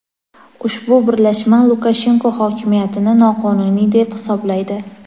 Ushbu birlashma Lukashenko hokimiyatini noqonuniy deb hisoblaydi.